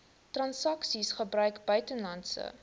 transaksies gebruik buitelandse